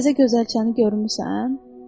Təzə gözəl çəni görmüsən?